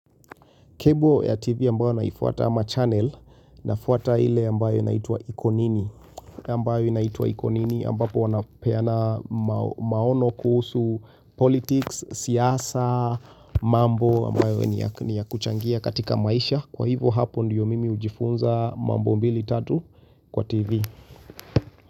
Kebo ya TV ambayo naifuata ama channel nafuata ile ambayo inaitwa iko nini ambayo inaitwa iko nini ambapo wanapeana maono kuhusu politics, siasa, mambo ambayo ni ya kuchangia katika maisha. Kwa hivo hapo ndiyo mimi hujifunza mambo mbili tatu kwa TV.